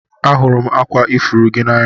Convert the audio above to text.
Ahụrụ m akwa ifuru gị n'anya